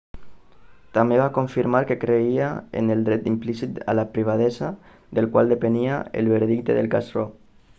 també va confirmar que creia en el dret implícit a la privadesa del qual depenia el veredicte del cas roe